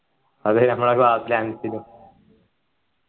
അതെ നമ്മളെ class ലെ അൻസില്